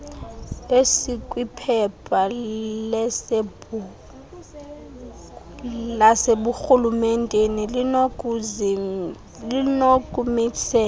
esikwiphepha laseburhulementeni linokumisela